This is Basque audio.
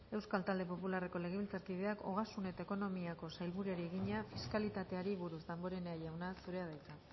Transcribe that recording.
euskal talde popularreko legebiltzarkideak ogasun eta ekonomiako sailburuari egina fiskalitateari buruz damborenea jauna zurea da hitza